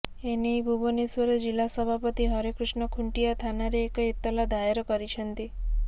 ଏନେଇ ଭୁବନେଶ୍ୱର ଜିଲ୍ଲା ସଭାପତି ହରେକୃଷ୍ଣ ଖୁଂଟିଆ ଥାନାରେ ଏକ ଏତଲା ଦାୟର କରିଛନ୍ତି